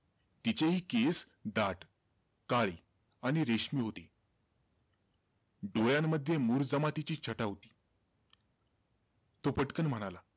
तिचेही केस दाट, काळे आणि रेशमी होते. डोळ्यांमध्ये मूर जमातीची छटा होती. तो पटकन म्हणाला,